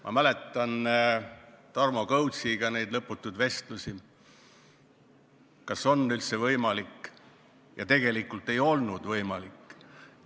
Ma mäletan neid Tarmo Kõutsiga peetud lõputuid vestlusi, et kas see on üldse võimalik, ja tegelikult ei olnud võimalik.